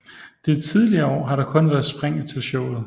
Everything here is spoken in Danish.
De tidligere år har der kun været spring til showet